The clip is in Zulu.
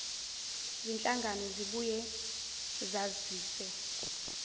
zinhlangano ziyobuye zazise